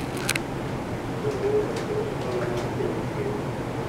Riwruogno konyo e ohala mar piny mangima.